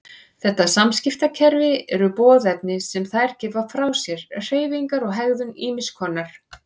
Þetta samskiptakerfi eru boðefni sem þær gefa frá sér, hreyfingar og hegðun ýmiss konar.